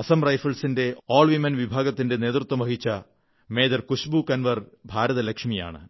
അസം റൈഫിൾസിന്റെ ആൾവിമൻ വിഭാഗത്തിന്റെ നേതൃത്വം വഹിച്ച മേജർ കുശ്ബൂ കൻവർ ഭാരതലക്ഷ്മിയാണ്